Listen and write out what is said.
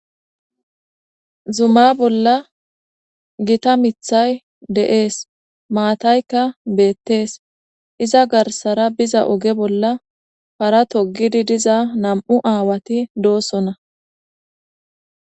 Zuma bolla gita mithay deees maataykka beettees iza garsara biza oge bolla para togidi diza nam7u aawati doosona.